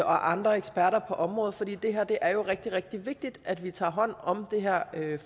andre eksperter på området for det er jo rigtig rigtig vigtigt at vi tager hånd om det her